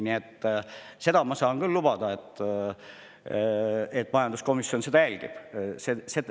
Nii et seda ma saan küll lubada, et majanduskomisjon seda jälgib.